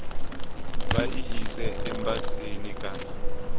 vha i ise embasini kana